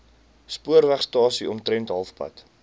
spoorwegstasie omtrent halfpad